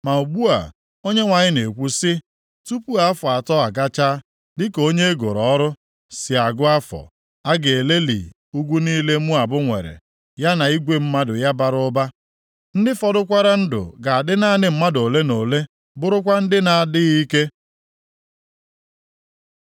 ma ugbu a Onyenwe anyị na-ekwu, sị, “Tupu afọ atọ agachaa, dịka onye e goro ọrụ + 16:14 \+xt Job 7:1; 14:6; Aịz 21:16\+xt* si agụ afọ, a ga-eleli ugwu niile Moab nwere, ya na igwe mmadụ ya bara ụba. Ndị fọdụkwara ndụ ga-adị naanị mmadụ ole na ole bụrụkwa ndị na-adịghị ike.”